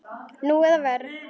Nú eða verr.